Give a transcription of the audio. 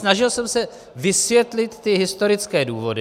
Snažil jsem se vysvětlit ty historické důvody.